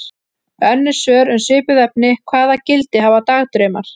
Önnur svör um svipuð efni: Hvaða gildi hafa dagdraumar?